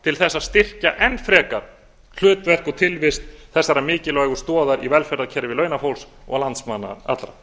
til að styrkja enn frekar hlutverk og tilvist þessarar mikilvægu stoðar í velferðarkerfi launafólk og landsmanna allra